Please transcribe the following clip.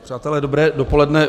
Přátelé, dobré dopoledne.